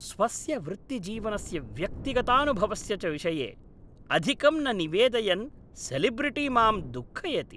स्वस्य वृत्तिजीवनस्य व्यक्तिगतानुभवस्य च विषये अधिकं न निवेदयन् सेलेब्रिटि माम् दुःखयति।